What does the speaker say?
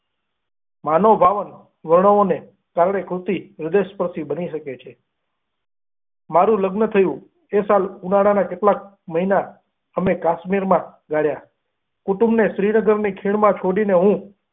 માનવભાવ વર્ણવો ને કારણે કૃતિ રસપાર્ટી બની શકે છે મારુ લગ્ન થયું એ સાલ ઉનાળા માં કેટલાક મહિના અમે કાશ્મીર માં ગાળ્યા કુતુમીઓ શ્રીનગર નું ખીણ માં શોધીને.